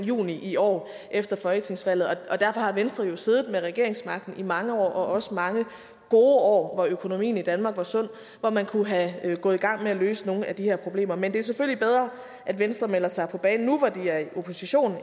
juni i år efter folketingsvalget derfor har venstre jo siddet med regeringsmagten i mange år også i mange gode år hvor økonomien i danmark var sund hvor man kunne være gået i gang med at løse nogle af de her problemer men det er selvfølgelig bedre at venstre melder sig på banen nu hvor de er i opposition